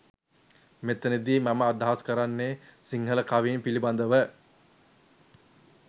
මෙතැන දි මම අදහස් කරන්නෙ සිංහල කවීන් පිලිබඳව.